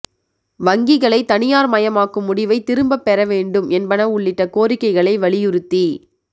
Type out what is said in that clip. வங்கிகளை தனியாா் மயமாக்கும் முடிவை திரும்பப் பெற வேண்டும் என்பன உள்ளிட்ட கோரிக்கைகளை வலியுறுத்தி